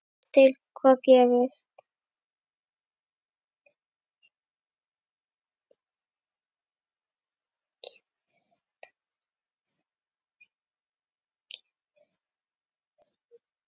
Sjáum til hvað gerist.